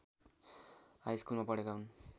हाइस्कुलमा पढेका हुन्